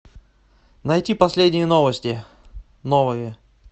найти последние новости новые